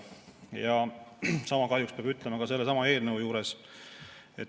Ja sama kahjuks peab ütlema ka sellesama eelnõu kohta.